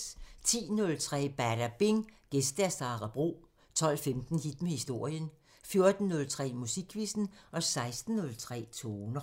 10:03: Badabing: Gæst Sara Bro 12:15: Hit med historien 14:03: Musikquizzen 16:03: Toner